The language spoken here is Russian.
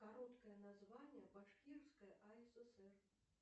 короткое название башкирской асср